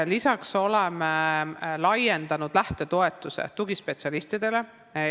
Lisaks oleme laiendanud lähtetoetuse maksmist tugispetsialistidele.